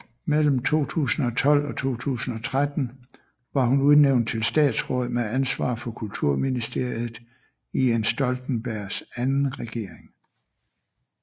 Mellem 2012 og 2013 var hun udnævnt til statsråd med ansvar for kulturministeriet i Jens Stoltenbergs anden regering